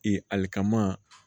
Ee alikama